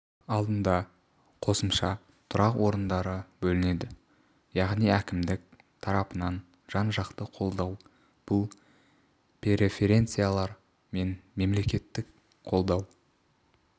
алдында қосымша тұрақ орындары бөлінеді яғни әкімдік тарапынан жан-жақты қолдау бұл преференциялар мен мемлекеттік қолдау